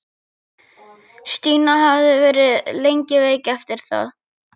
Stína hafði verið lengi veik eftir það.